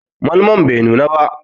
Malmon bai nuna ba.